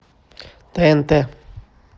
тнт